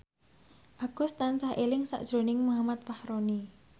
Agus tansah eling sakjroning Muhammad Fachroni